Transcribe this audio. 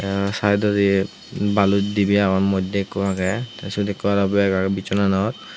tey saidodi balos dibey agon moddye ikko agey tey syot ikko aro bag agey bissonanot.